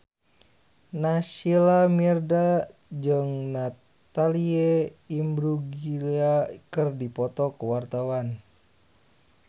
Naysila Mirdad jeung Natalie Imbruglia keur dipoto ku wartawan